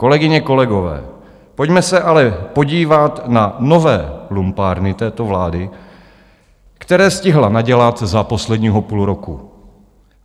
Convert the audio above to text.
Kolegyně, kolegové, pojďme se ale podívat na nové lumpárny této vlády, které stihla nadělat za posledního půl roku.